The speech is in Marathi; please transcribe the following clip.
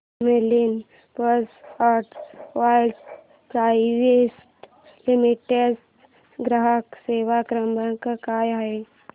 Camlin pumps and valves private limited चा ग्राहक सेवा क्रमांक काय आहे